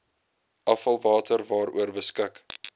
afvalwater waaroor beskik